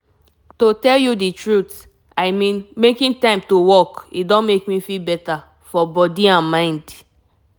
after i finish read one article um on why waka dey um good i begin one new habit wey dey work for me.